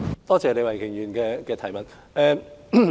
多謝李慧琼議員的補充質詢。